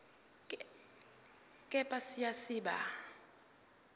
kepha siya siba